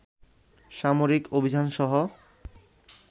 সামরিক অভিযানসহ